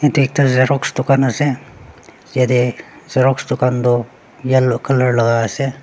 te ekta xerox dukan ase yatae xerox dukan toh yellow colour laka ase.